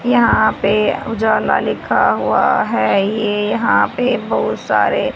यहां पे उजाला लिखा हुआ है ये यहां पे बहुत सारे--